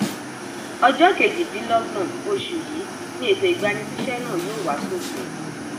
ọjọ kejìdínlọgbọn oṣù yìí ni ètò ìgbanisíṣẹ náà yóò wá sópin